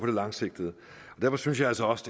det langsigtede derfor synes jeg altså også